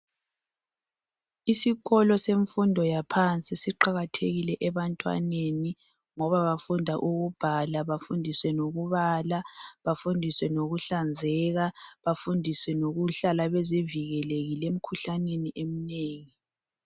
Isikolo semfundo yaphansi siqakathekile ebantwaneni ngoba bafunda ukubhala, ukubala ,ukuhlanzeka lokuzivikela emikhuhlaneni eminengi.